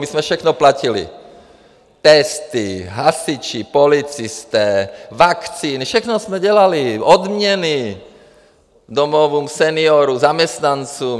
My jsme všechno platili - testy, hasiči, policisté, vakcíny; všechno jsme dělali - odměny domovům seniorů, zaměstnancům.